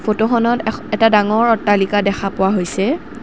ফটোখনত এখ-এটা ডাঙৰ অট্টালিকা দেখা পোৱা হৈছে।